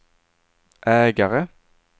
ägare